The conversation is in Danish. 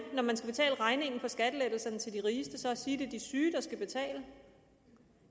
når man skal betale regningen for skattelettelserne til de rigeste at sige at det er de syge der skal betale